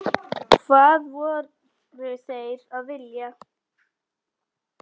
Hvað voru þeir að vilja?